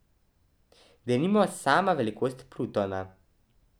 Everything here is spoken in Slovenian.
Denimo, sama velikost Plutona.